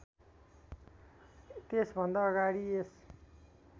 त्यसभन्दा अगाडि यस